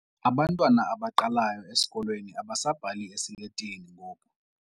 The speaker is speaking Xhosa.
Abantwana abaqalayo esikolweni abasabhali esiletini ngoku.